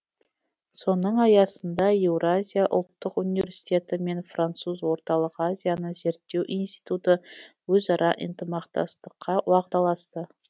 соның аясында еуразия ұлттық университеті мен француз орталық азияны зерттеу институты өзара ынтымақтастыққа уағдаласты